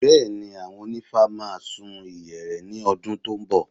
Bẹ́ẹ̀ni, àwọn onífá máa sun ìyẹ̀rẹ̀ ní ọdún tó ń bọ̀